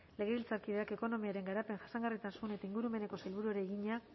legebiltzarkideak ekonomiaren garapen jasangarritasun eta ingurumeneko sailburuari egina